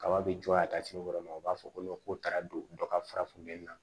Kaba be jɔ a taa sini yɔrɔ ma o b'a fɔ ko ko taara don dɔ ka fara funtɛni na